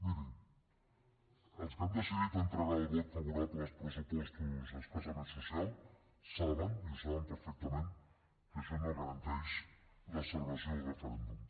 miri els que han decidit entregar el vot favorable als pressupostos escassament socials saben i ho saben perfectament que això no garanteix la celebració del referèndum